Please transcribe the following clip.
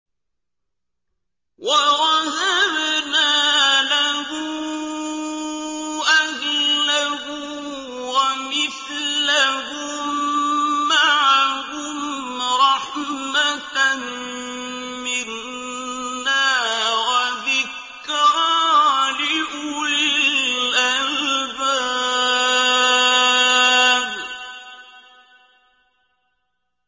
وَوَهَبْنَا لَهُ أَهْلَهُ وَمِثْلَهُم مَّعَهُمْ رَحْمَةً مِّنَّا وَذِكْرَىٰ لِأُولِي الْأَلْبَابِ